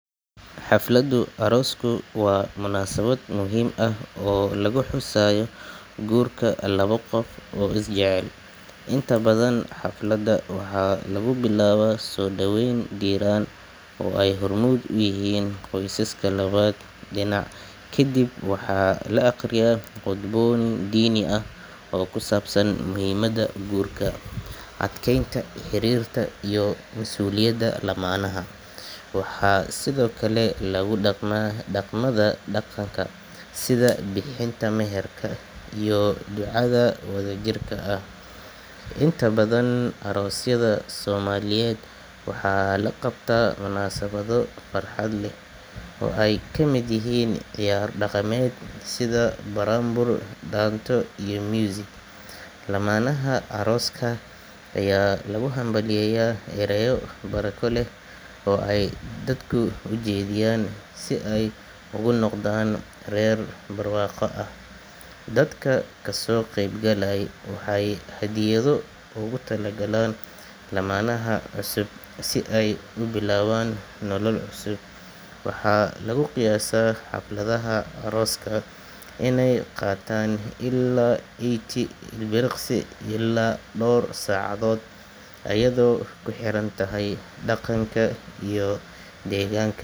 Xafladu arosku wa munasabad muhim ahh oo laguxusayo gurka laba qof oo isjecel, inta badhan xaflada waxa lagubilaba sodaweyn diran oo ey hormud uyihin qoysaska labadha dinac, kadib waxa laaqriya qudbo dini ahh oo kusabsan muhimada gurka, adkeynta xirirka iyo masuliyada gurka lamanah, waxa sidhokale lagu daqma daqmadha daqanka sidha bixinta meherka iyo ducadha wadhajirka ahh, inta badhan arosyadha somaliyed waxa laqabta munasabyo farxad leh oo ey kamid yihin ciyar daqamed sidha buranbur, danto iyo music, lamanah aroska aya lugu hampalyeya erayo baraka leh oo ey dadka ujedhiyan si ey ugu noqdan rer borwaqo ahh, dadka kasoqeyb galayo waxey hadyadho ugu targalan lamanaha cusub si ey ubilawan nolol cuusub, waxa laguqiyasa xafladhaha aroska iney qatan ila ill dowr sacdhod ayadho kuxerantahy daqanka iyo deganka.